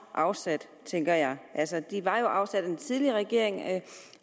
afsat tænker jeg altså de var jo afsat af den tidligere regering